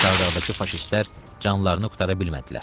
Çardağdakı faşistlər canlarını qurtara bilmədilər.